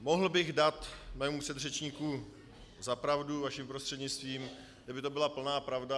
Mohl bych dát mému předřečníku za pravdu vaším prostřednictvím, kdyby to byla plná pravda.